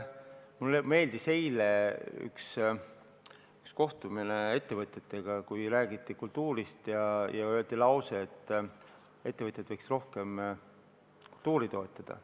Mulle meeldis eile üks kohtumine ettevõtjatega, kus räägiti kultuurist ja öeldi, et ettevõtjad võiks rohkem kultuuri toetada.